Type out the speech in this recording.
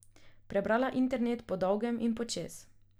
Prebrala internet po dolgem in počez.